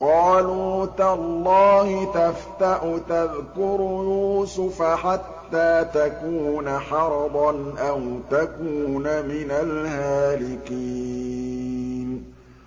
قَالُوا تَاللَّهِ تَفْتَأُ تَذْكُرُ يُوسُفَ حَتَّىٰ تَكُونَ حَرَضًا أَوْ تَكُونَ مِنَ الْهَالِكِينَ